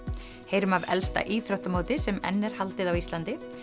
heyrum af elsta íþróttamóti sem enn er haldið á Íslandi